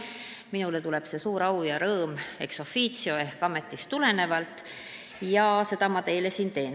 Minule tuleneb see suur au ja rõõm ex officio ehk siis minu ametist ja nii ma seda ettekannet teile siin teen.